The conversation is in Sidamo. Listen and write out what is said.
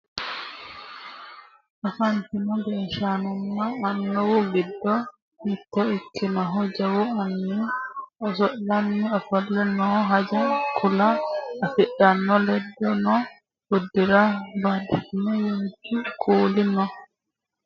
afantino gashshaanonna annuwu giddo mitto ikkinohu jawu anni oso'lanni ofolle no haanja kuula afidhino layeeno uddire badhesiinni waajju kuuli no